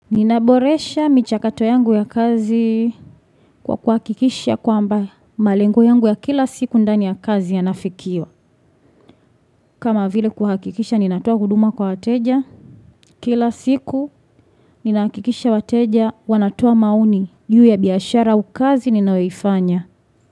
Ninaboresha michakato yangu ya kazi kwa kuhakikisha kwa ambaye malengo yangu ya kila siku ndani ya kazi yanafikiwa kama vile kuhakikisha ninatua huduma kwa wateja Kila siku ninakikisha wateja wanatua mauni Juhi ya biyashara au kazi ninayoifanya.